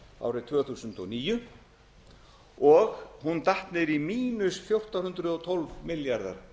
árið tvö þúsund og níu og datt niður í mínus fjórtán hundruð og tólf milljarða